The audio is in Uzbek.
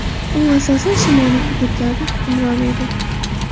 U asosan shimoliy hududlarda hukmron edi.